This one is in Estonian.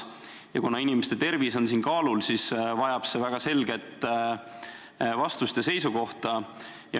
Kuna siin on kaalul inimeste tervis, siis see vajab väga selget vastust ja seisukohta.